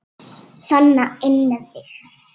Sona inn með þig!